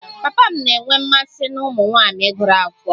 Papa m na-enwe mmasị na ụmụ nwanyị gụrụ akwụkwọ